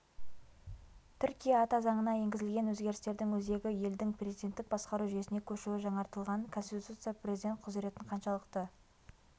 түркия ата заңына енгізілген өзгерістердің өзегі елдің президенттік басқару жүйесіне көшуі жаңартылған конституция президент құзыретін қаншалықты